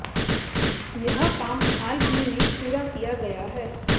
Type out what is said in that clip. यह काम हाल ही में पूरा किया गया है